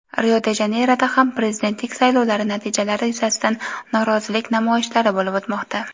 Rio-de-Janeyroda ham prezidentlik saylovlari natijalari yuzasidan norozilik namoyishlari bo‘lib o‘tmoqda.